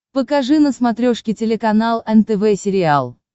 покажи на смотрешке телеканал нтв сериал